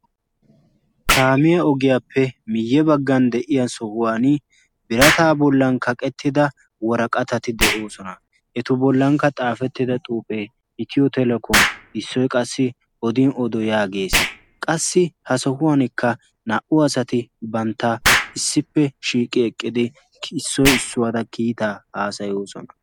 Kaamiya ogiyaappe miyye baggan de'iya sohuwan birataa bollan kaqettida waraqatati de'oosona. etu bollankka xaafettida xuuphee hitiyo telekomi issoi qassi odin odo yaagees qassi ha sohuwankka naa"u asati bantta issippe shiiqi eqqidi issoi issuwaada kiitaa haasayoosona.